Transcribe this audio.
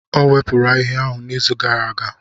O wepụrụ ahihia ahụ n'izu gara aga.